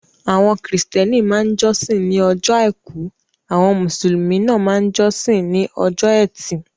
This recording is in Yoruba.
Àwọn kírísítẹ́nì máa ń jọ́sìn ní ọjọ́ àìkú; àwọn Mùsùlùmí máa máa ń jọ́sìn ní ọjọ́ ẹtì.